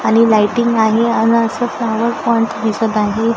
आणि लाइटिंग आहे आण असं फ्लॉवर पॉईंट दिसत आहे.